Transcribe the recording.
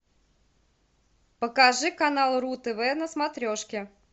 покажи канал ру тв на смотрешке